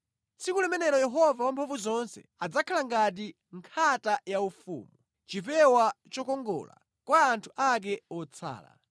Tsiku limenelo Yehova Wamphamvuzonse adzakhala ngati nkhata yaufumu, chipewa chokongola kwa anthu ake otsala.